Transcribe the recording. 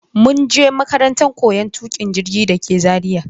mun je makarantan koyon tukin jirgi dake Zaria.